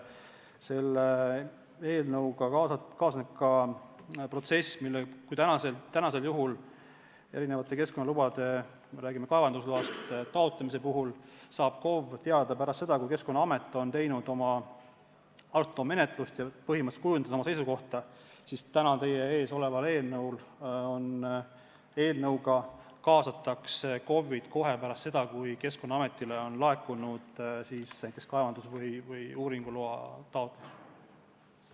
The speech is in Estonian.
Kui praegu keskkonnaloa taotlemise puhul – me räägime kaevandusloast – saab KOV sellest teada pärast seda, kui Keskkonnaamet on teinud oma menetluse ja põhimõtteliselt kujundanud oma seisukohta, siis täna teie ees oleva eelnõuga kaasatakse KOV-id kohe pärast seda, kui Keskkonnaametile on laekunud näiteks kaevandus- või uuringuloa taotlus.